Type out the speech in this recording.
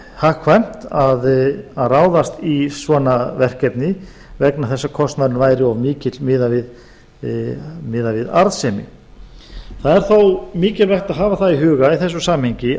hagkvæmt að ráðast í svona verkefni vegna þess að kostnaðurinn væri of mikill miðað við arðsemi það er þó mikilvægt að hafa það í huga í þessu samhengi